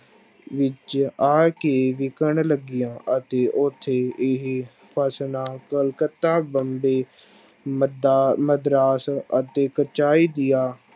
ਵਿੱਚ ਆ ਕੇ ਵਿਕਣ ਲੱਗੀਆਂ ਅਤੇ ਉੱਥੇ ਇਹ ਫਸਲਾਂ ਕਲਕੱਤਾ ਬੰਬੇ ਮੱਦਾ ਮਦਰਾਸ ਅਤੇ ਦੀਆਂ